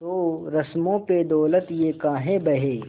तो रस्मों पे दौलत ये काहे बहे